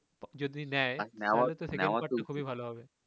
যদি নেয় খুবই ভালো হবে